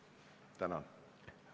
Tänan!